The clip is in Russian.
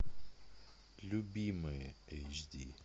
любимые эйч ди